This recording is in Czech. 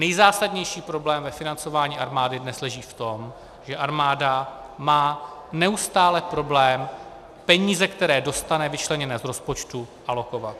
Nejzásadnější problém ve financování armády dnes leží v tom, že armáda má neustále problém peníze, které dostane vyčleněné z rozpočtu, alokovat.